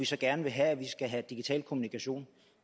så gerne vil have vi skal have digital kommunikation